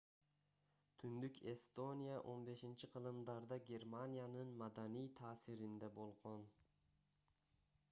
түндүк эстония 15-кылымдарда германиянын маданий таасиринде болгон